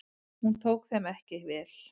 Hún tók þeim ekki vel.